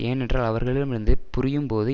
ஏனென்றால் அவர்களிடமிருந்து புரியும்போது